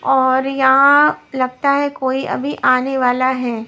और यहां लगता है कोई अभी आने वाला है।